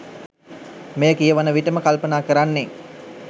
මෙය කියවන විටම කල්පනා කරන්නේ